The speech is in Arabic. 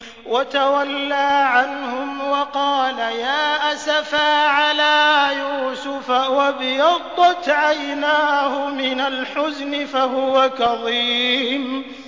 وَتَوَلَّىٰ عَنْهُمْ وَقَالَ يَا أَسَفَىٰ عَلَىٰ يُوسُفَ وَابْيَضَّتْ عَيْنَاهُ مِنَ الْحُزْنِ فَهُوَ كَظِيمٌ